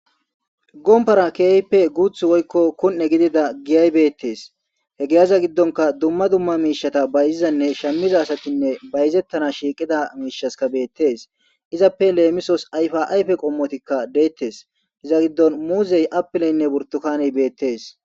gompara keype guuth woykko kun7e gidida giyay beettees he geeaza giddonka dumma dumma miishata bayzizanne shamiza asatinne bayzettana shiiqida miishaska beettees izappe leemisos yfaayfe qommotikka deettes iza giddon muuzey apileynne burtukani beettees